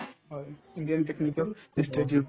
হয়, indian technical institute